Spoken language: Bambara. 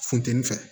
Funteni fɛ